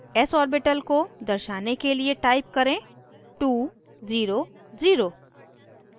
s orbital को दर्शाने के लिए type करें 2 0 0